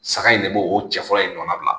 Saga in de b'o o cɛfarin in dɔnnabila